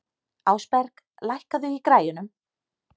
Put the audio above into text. Ásberg, lækkaðu í græjunum.